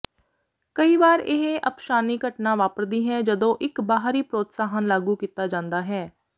ਕਈ ਵਾਰ ਇਹ ਅਪਸ਼ਾਨੀ ਘਟਨਾ ਵਾਪਰਦੀ ਹੈ ਜਦੋਂ ਇੱਕ ਬਾਹਰੀ ਪ੍ਰੋਤਸਾਹਨ ਲਾਗੂ ਕੀਤਾ ਜਾਂਦਾ ਹੈ